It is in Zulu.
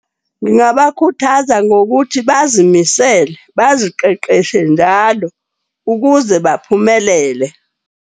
Ngingabakhuthaza ngokuthi bazimisele baziqeqeshe njalo ukuze baphumelele.